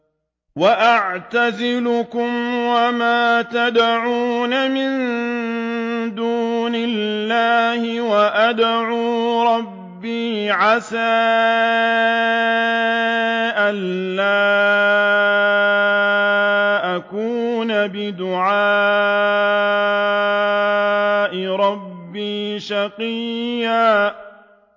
وَأَعْتَزِلُكُمْ وَمَا تَدْعُونَ مِن دُونِ اللَّهِ وَأَدْعُو رَبِّي عَسَىٰ أَلَّا أَكُونَ بِدُعَاءِ رَبِّي شَقِيًّا